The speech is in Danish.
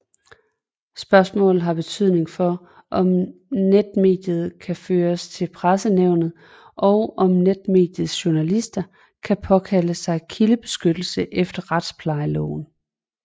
Spørgsmålet har betydning for om netmediet kan føres for Pressenævnet og om netmediets journalister kan påkalde sig kildebeskyttelse efter Retsplejeloven